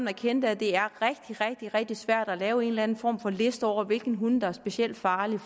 erkendt at det er rigtig rigtig rigtig svært at lave en eller anden form for liste over hvilke hunde der er specielt farlige